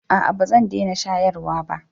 a'a ba zan dena shayarwa ba